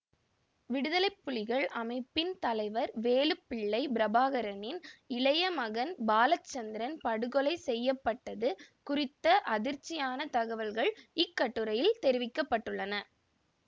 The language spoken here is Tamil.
விடுதலைப்புலிகள் அமைப்பின் தலைவர் வேலுப்பிள்ளை பிரபாகரனின் இளைய மகன் பாலச்சந்திரன் படுகொலை செய்ய பட்டது குறித்த அதிர்ச்சியான தகவல்கள் இக்கட்டுரையில் தெரிவிக்க பட்டுள்ளன